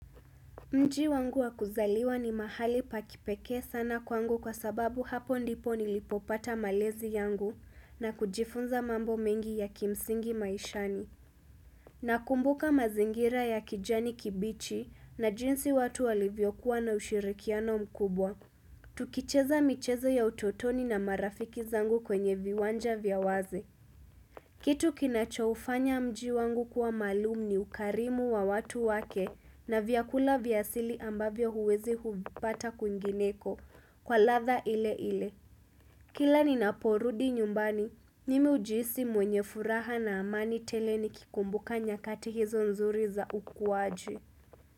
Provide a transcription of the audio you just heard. Mji wangu wa kuzaliwa ni mahali pa kipeke sana kwangu kwa sababu hapo ndipo nilipopata malezi yangu na kujifunza mambo mengi ya kimsingi maishani. Nakumbuka mazingira ya kijani kibichi na jinsi watu walivyokuwa na ushirikiano mkubwa. Tukicheza michezo ya utotoni na marafiki zangu kwenye viwanja vya wazi. Kitu kinachoufanya mji wangu kuwa maalum ni ukarimu wa watu wake na vyakula vya asili ambavyo huwezi hubbata kwingineko kwa ladha ile ile. Kila ninaporudi nyumbani, mimi ujiisi mwenye furaha na amani tele nikikumbuka nyakati hizo nzuri za ukuwaji.